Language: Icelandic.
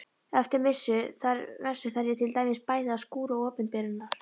Eftir messu þarf ég til dæmis bæði að skúra opinberunar